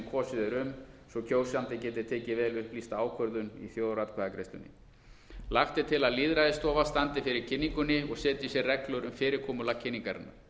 kosið er um svo kjósandi geti tekið vel upplýsta ákvörðun í þjóðaratkvæðagreiðslunni lagt er til að lýðræðisstofa standi fyrir kynningunni og setji sér reglur um fyrirkomulag kynningarinnar